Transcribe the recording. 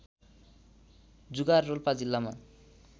जुगाँर रोल्पा जिल्लामा